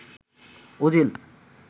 Ozil